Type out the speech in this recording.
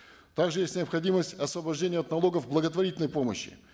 также есть необходимость освобождения от налогов благотворительной помощи